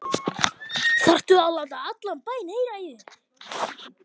ÞARFTU AÐ LÁTA ALLAN BÆINN HEYRA Í ÞÉR!